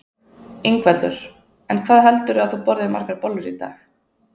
Ingveldur: En hvað heldurðu að þú borðir margar bollur í dag?